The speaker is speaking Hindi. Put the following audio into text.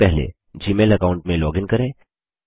सबसे पहले जीमेल अकाऊंट में लॉगिन करें